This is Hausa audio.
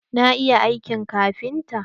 Na iya aiki kafinta.